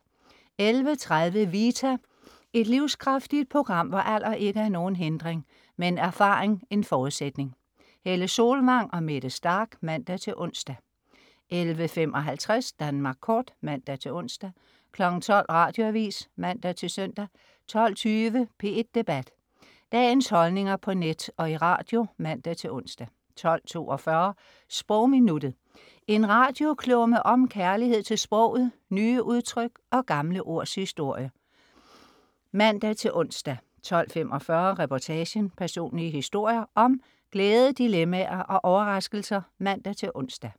11.30 Vita. Et livskraftigt program, hvor alder ikke er nogen hindring, men erfaring en forudsætning. Helle Solvang og Mette Starch (man-ons) 11.55 Danmark Kort (man-ons) 12.00 Radioavis (man-søn) 12.20 P1 Debat. Dagens holdninger på net og i radio (man-ons) 12.42 Sprogminuttet. En radioklumme om kærlighed til sproget, nye udtryk og gamle ords historie (man-ons) 12.45 Reportagen. Personlige historier om glæde, dilemmaer og overraskelser (man-ons)